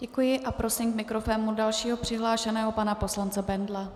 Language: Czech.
Děkuji a prosím k mikrofonu dalšího přihlášeného, pana poslance Bendla.